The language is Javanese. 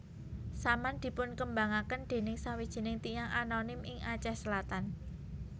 Saman dipunkembangaken dening sawijining tiyang anonim ing Aceh Selatan